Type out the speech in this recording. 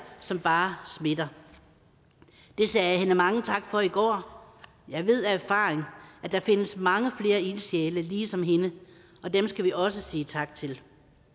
som bare smitter det sagde jeg hende mange tak for i går jeg ved af erfaring at der findes mange flere ildsjæle ligesom hende og dem skal vi også sige tak til